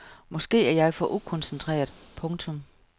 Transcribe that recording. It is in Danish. Måske var jeg for ukoncentreret. punktum